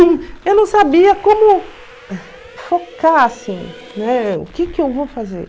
Eu não sabia como focar, assim, né, o que que eu vou fazer.